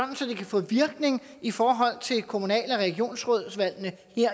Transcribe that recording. kan få virkning i forhold til kommunal og regionsrådsvalgene